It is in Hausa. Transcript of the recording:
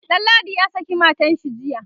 Danladi ya saki matanshi jiya